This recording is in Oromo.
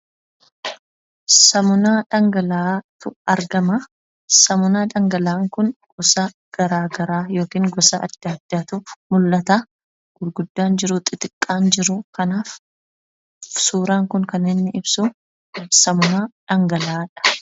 Saamunaa dhangala'aatu argama. Saamunaa dhangala'aa kun gosa garagaraa yookiin gosa adda addaatu mul'ata. Gurguddaan jiru xixiqqaan jiru. Suuraan kun kan inni ibsu saamunaa dhangala'aadha.